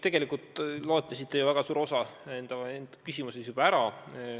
Tegelikult te loetlesite väga palju oma küsimuses juba ära.